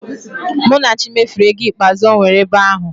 Munachi mefuru ego ikpeazụ o nwere ebe ahụ